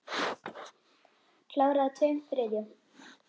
Klára að tveim þriðju.